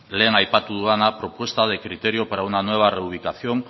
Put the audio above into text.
lehen aipatu dudana criterio para una nueva reubicación